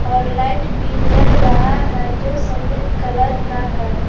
और लाइट भी जल रहा है जो सफेद कलर का है।